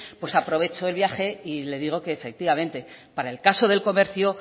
pues aprovecho el viaje y le digo que efectivamente para el caso del comercio